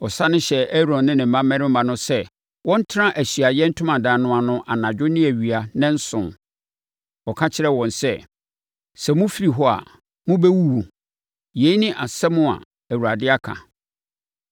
Ɔsane hyɛɛ Aaron ne ne mmammarima no sɛ wɔntena Ahyiaeɛ Ntomadan no ano anadwo ne awia nnanson. Ɔka kyerɛɛ wɔn sɛ, ‘Sɛ mofiri hɔ a, mobɛwuwu. Yei ne asɛm a Awurade aka.’ ”